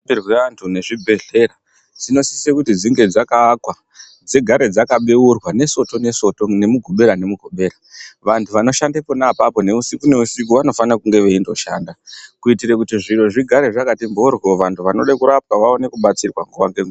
.Muno..rapirwe antu nezvibhehlera dzinosise kuti dzinge dzakaakwa dzigare dzakabeurwa neSoto neSoto, neMugubera neMugubera. Vantu vanoshanda pona apapo neusiku neusiku vanofana kunge veindoshanda. Kuitire kuti zviro zvigare zvakati mhoryo. Vantu vanode kurapwa vaone kubatsirwa nguva ngenguva.